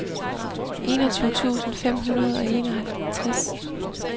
enogtyve tusind fem hundrede og enoghalvtreds